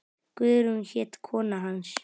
Guðrún hét kona hans.